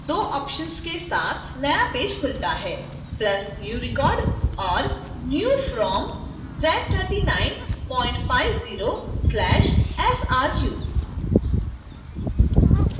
दो options के साथ नया पेज खुलता है